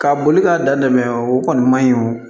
Ka boli k'a da dɛ o kɔni man ɲi o